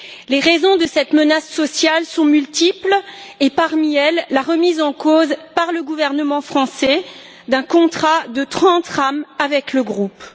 Les raisons de cette menace sociale sont multiples et, parmi elles, la remise en cause, par le gouvernement français, d'un contrat de 30 rames avec le groupe.